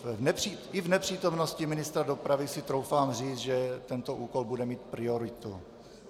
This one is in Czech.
I v nepřítomnosti ministra dopravy si troufám říct, že tento úkol bude mít prioritu.